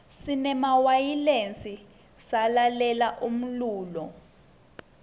sinemawayilesi salalela umlulo